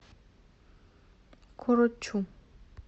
корочу